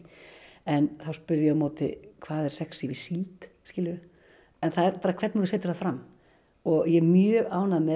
en þá spurði ég á móti hvað er sexí við síld skilurðu en það er bara hvernig þú setur það fram og ég er mjög ánægð með